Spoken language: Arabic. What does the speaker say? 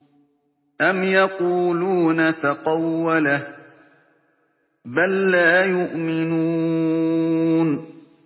أَمْ يَقُولُونَ تَقَوَّلَهُ ۚ بَل لَّا يُؤْمِنُونَ